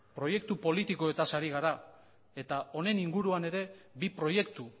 proiektu politikoetaz ari gara eta honen inguruan ere bi proiektu